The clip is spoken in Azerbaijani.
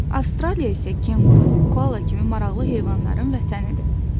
Avstraliya isə kenquru, koala kimi maraqlı heyvanların vətənidir.